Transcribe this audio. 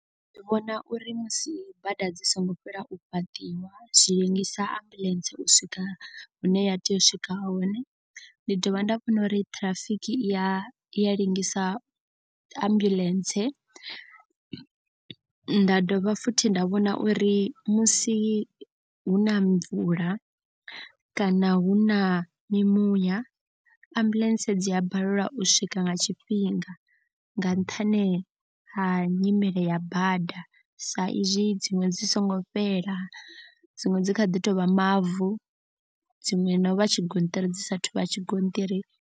Ndi vhona uri musi bada dzi songo fhela u fhaṱiwa zwi ḽengisa ambuḽentse u swika hune ya tea u swika hone. Ndi dovha nda vhona uri ṱhirafiki iya i ḽengisa ambuḽentse. Nda dovha futhi nda vhona uri musi huna mvula kana hu na mimuya ambuḽentse dzi a balelwa u swika nga tshifhinga. Nga nṱhani ha nyimele ya bada sa izwi dziṅwe dzi songo fhela dziṅwe dzi kha ḓi tovha mavu. Dziṅwe na u vha tshigonṱiri dzi sathu vha tshigonṱiri.